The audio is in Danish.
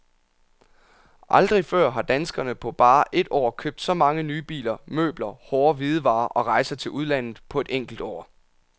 Aldrig før har danskerne på bare et år købt så mange nye biler, møbler, hårde hvidevarer og rejser til udlandet på et enkelt år.